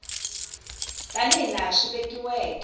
tani hi laha swi vekiweke